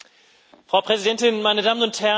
Frau Präsidentin, meine Damen und Herren!